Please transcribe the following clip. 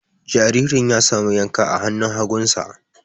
Jaririn ya samu yanka a hannun hagunsa.